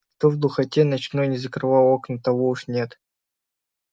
кто в духоте ночной не закрывал окна того уж нет